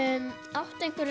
áttu einhverja